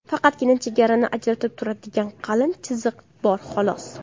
Faqatgina chegarani ajratib turadigan qalin chiziq bor xolos.